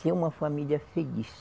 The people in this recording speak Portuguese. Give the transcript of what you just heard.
Ser uma família feliz.